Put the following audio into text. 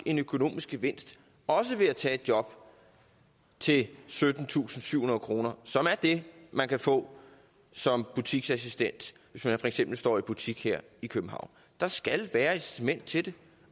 en økonomisk gevinst også ved at tage et job til syttentusinde og syvhundrede kr som er det man kan få som butiksassistent hvis man for eksempel står i butik her i københavn der skal være et incitament til det